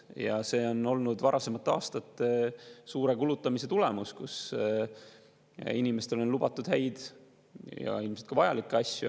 Ja see on olnud varasemate aastate suure kulutamise tulemus, kui inimestele on lubatud häid ja ilmselt ka vajalikke asju.